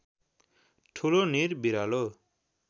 ठुलो निर बिरालो